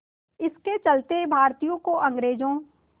इसके चलते भारतीयों को अंग्रेज़ों